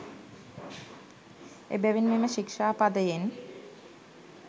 එබැවින් මෙම ශික්ෂාපදයෙන්